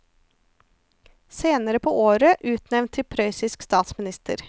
Senere på året utnevnt til prøyssisk statsminister.